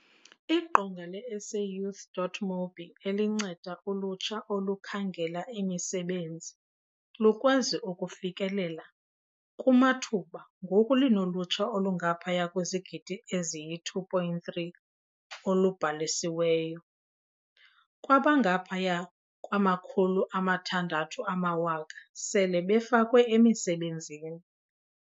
Iqonga le-SAYouth.mobi elinceda ulutsha olukhangela imisebenzi lukwazi ukufikelela kumathuba ngoku linolutsha olungaphaya kwezigidi eziyi-2.3 olubhalisiweyo. Kwaba, ngaphaya kwama-600 000 sele befakwe emisebenzini.